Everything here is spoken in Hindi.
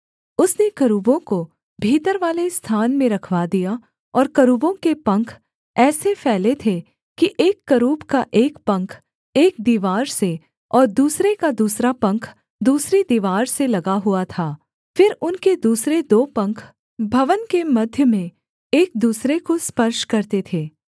उसने करूबों को भीतरवाले स्थान में रखवा दिया और करूबों के पंख ऐसे फैले थे कि एक करूब का एक पंख एक दीवार से और दूसरे का दूसरा पंख दूसरी दीवार से लगा हुआ था फिर उनके दूसरे दो पंख भवन के मध्य में एक दूसरे को स्पर्श करते थे